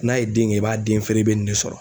N'a ye den kɛ i b'a den feere i bɛ nin ne sɔrɔ.